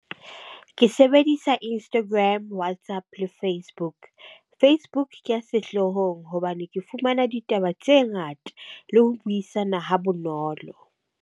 Ke sebedisa Instagram, WhatsApp, Facebook. Facebook sehloohong hobane ke fumana ditaba tse ngata le ho buisana ha bonolo.